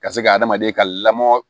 Ka se ka adamaden ka lamɔ